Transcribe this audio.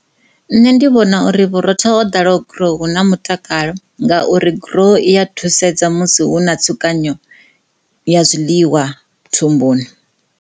Nṋe ndi vhona uri vhurotho ho ḓalaho grow hu na mutakalo ngauri grow i a thusedza musi hu na tsukanyo ya zwiḽiwa thumbuni.